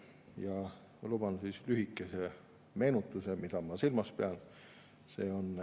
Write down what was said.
Ma luban endale lühikese meenutuse, mida ma silmas pean.